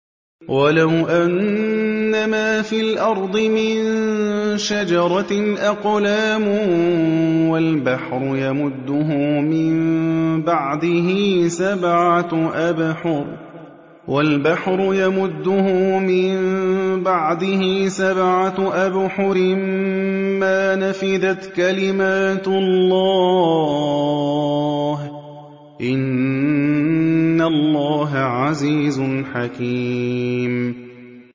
وَلَوْ أَنَّمَا فِي الْأَرْضِ مِن شَجَرَةٍ أَقْلَامٌ وَالْبَحْرُ يَمُدُّهُ مِن بَعْدِهِ سَبْعَةُ أَبْحُرٍ مَّا نَفِدَتْ كَلِمَاتُ اللَّهِ ۗ إِنَّ اللَّهَ عَزِيزٌ حَكِيمٌ